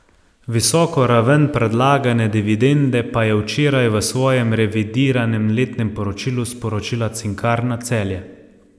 Visoko raven predlagane dividende pa je včeraj v svojem revidiranem letnem poročilu sporočila Cinkarna Celje.